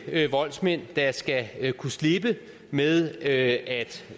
voldsmænd der skal kunne slippe med at